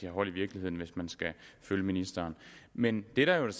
har hold i virkeligheden hvis man skal følge ministeren men det der jo er